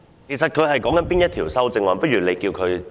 其實他正就哪一項修正案發言？